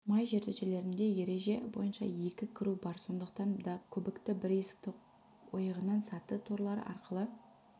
май жертөлелерінде ереже бойынша екі кіру бар сондықтан да көбікті бір есік ойығынан саты торлары арқылы